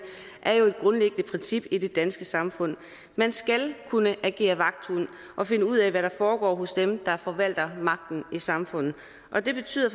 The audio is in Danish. er jo et grundlæggende princip i det danske samfund man skal kunne agere vagthund og finde ud af hvad der foregår hos dem der forvalter magten i samfundet og det betyder